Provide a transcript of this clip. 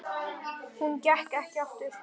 Hún gekk ekki aftur.